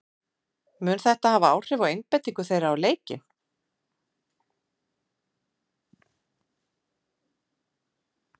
Mun þetta hafa áhrif á einbeitingu þeirra á leikinn?